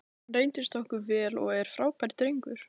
Hann reyndist okkur vel og er frábær drengur.